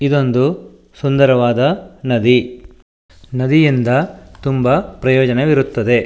ಇದೊಂದು ಸುಂದರವಾದ ನದಿ ನದಿಯಿಂದ ತುಂಬಾ ಪ್ರಯೋಜನವಿರುತ್ತದೆ.